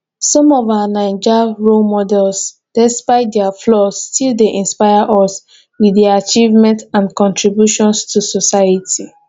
some of our naija role models despite dia flaws still dey inspire us with dia achievements and contributions to society